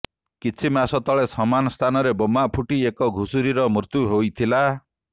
କିଛି ମାସ ତଳେ ସମାନ ସ୍ଥାନରେ ବୋମା ଫୁଟି ଏକ ଘୁଷୁରୀର ମୃତ୍ୟୁ ହୋଇଥିଲା